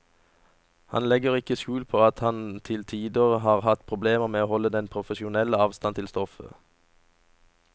Han legger ikke skjul på at han til tider har hatt problemer med å holde den profesjonelle avstand til stoffet.